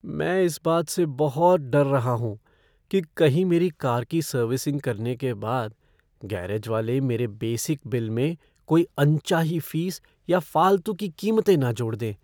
मैं इस बात से बहुत डर रहा हूँ कि कहीं मेरी कार की सर्विसिंग करने के बाद गैरेज वाले मेरे बेसिक बिल में कोई अनचाही फ़ीस या फालतू की कीमतें न जोड़ दें।